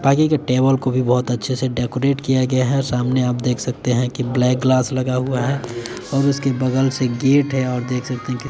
के टेबल को भी बहुत अच्छे से डेकोरेट किया गया है और सामने आप देख सकते है कि ब्लैक ग्लास लगा हुआ है और उसके बगल से गेट है और देख सकते है कि --